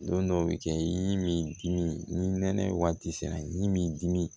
Don dɔw bɛ kɛ ye min dimi ni nɛnɛ waati sera yiri min dimi